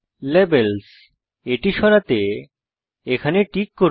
Labelsএটি সরাতে এটি টিক করুন